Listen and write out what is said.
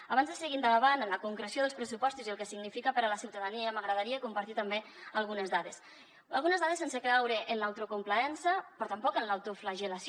abans de seguir endavant en la concreció dels pressupostos i el que significa per a la ciutadania m’agradaria compartir també algunes dades algunes dades sense caure en l’autocomplaença però tampoc en l’autoflagel·lació